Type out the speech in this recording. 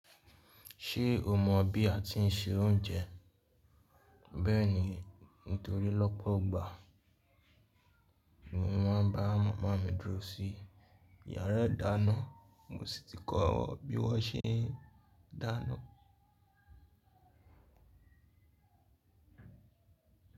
Ṣé o mọ bí a ti ń se oúnjẹ? Bẹ́ẹ̀ni, nítorí lọ́pọ̀ igbà ni mo máa ń bá màmá mi dúró sí yàrá ìdáná, mo sì ti kọ́ ọ bí wọ́n ṣe ń dáná.